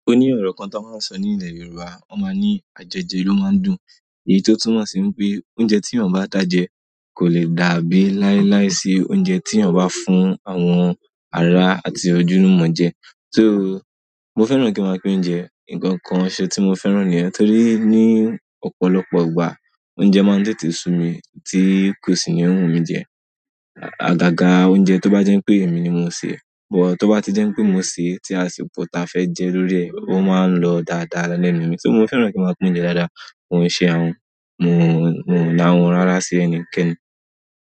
O ní ọ̀rọ̀ kan tí wọ́n máa ń sọ ní ilẹ̀ Yorùbá. Wọ́n máa ń ní "ajojẹ ló máa ń dùn", èyí tó túmọ̀ sí pé oúnjẹ tí èèyàn bá da jẹ kò le dàbí láíláí sí oúnjẹ tí èèyàn bá fún àwọn àrá àti ojulumọ́ jẹ. So mo fẹ́ràn kí máa pín oúnjẹ. Nǹkan kan ṣe tí mo fẹ́ràn nìyẹn torí ní ọ̀pọ̀lọpọ̀ ìgbà oúnjẹ máa ń tètè sun mi tí kò sì ní wù mí jẹ. Agaga oúnjẹ tó bá jẹ́ pé èmi ni mo sè é, bọ̀ tó bá ti jẹ́ pé mo sè é tí àṣipọ̀ ta fẹ́ jẹ lórí ẹ̀, ó máa ń lọ dáadáa lẹ́nu mi. So mo fẹ́ràn kí máa pín oúnjẹ dáadáa, mo ń se àhun, mo ń, mo ń la àhun rara sí ẹni kẹ́ni.